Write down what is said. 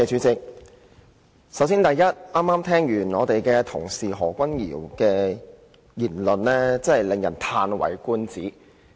首先，剛剛聽罷何君堯議員的發言，實在令人嘆為觀止。